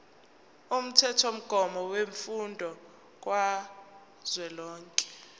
umthethomgomo wemfundo kazwelonke